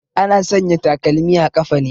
Ana sanya takalmi a ƙafa ne